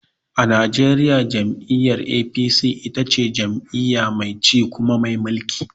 A najeriya jam'iyyar APC ita ce jam'iyya mai ci kuma mai mulki.